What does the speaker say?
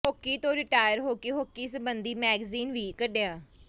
hockey ਤੋਂ retire ਹੋ ਕੇ ਹਾਕੀ ਸਬੰਧੀ ਮੈਗਜ਼ੀਨ ਵੀ ਕੱਢਿਆ